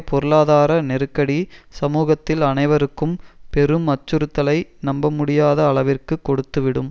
பொருளாதார நெருக்கடி சமூகத்தில் அனைவருக்கும் பெரும் அச்சுறுத்தலை நம்ப முடியாத அளவிற்கு கொடுத்துவிடும்